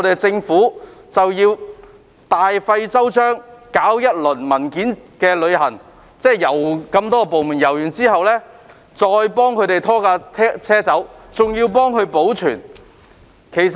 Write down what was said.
政府大費周章，搞一輪"文件旅行"，即經各部門審批文件後，才把有關車輛拖走並保存。